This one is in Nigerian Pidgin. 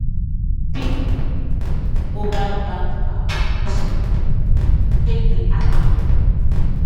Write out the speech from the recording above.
before you trust mobile bank app you suppose check say the app legit.